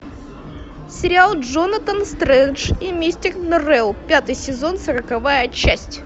сериал джонатан стрендж и мистер норрелл пятый сезон сороковая часть